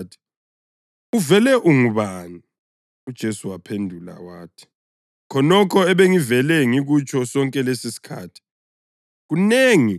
Bambuza bathi, “Uvele ungubani?” UJesu waphendula wathi, “Khonokho ebengivele ngikutsho sonke lesisikhathi.